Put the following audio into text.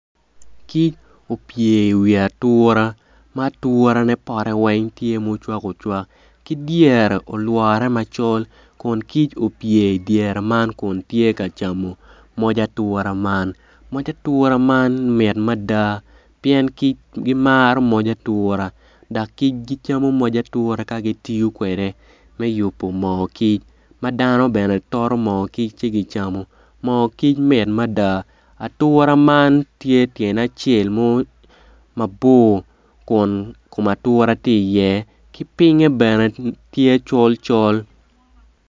Kic opye iwi atura ma aturane pote weng tye ma ocwaka ocwak ki dyere olworre macol kun kic opoye idyere man kun tye ka camo moc atura man moc atura man mit mada pien kic gimaro moc atura dok kjic kicamo moc atura ka gitiyo kwede me yubo moo kic ma dano bene toto moo kic ci gicamo moo kic mit mada ature man tye tyene acel mabor kun kom atura tye iye pinge bene tye col col.